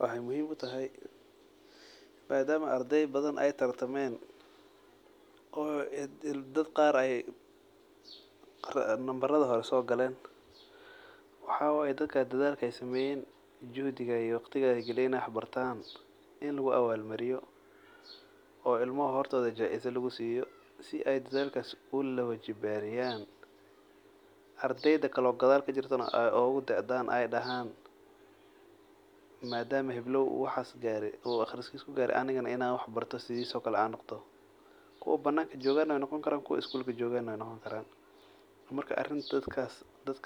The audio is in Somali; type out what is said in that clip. Wexey muhiim utahay madam ey ardey badan tartamen oo dad qar ey nambaraha hore sogalen waxa waye dadka dadaalka ey sameyen juhdiga ey galiyen iney wax bartan ini lugu awal mariyo oo hortoda jaizo lugusubiyo sii ey dadalkas usi lawojibariyo arrdeyda kalo gadal aey ogggudaadan ey dahan madama uu heblow uu waxas gare uu in an anigana in an wax barto kuwa bananka jogan wey noqoni kaan kuwa marka arin dadkas dad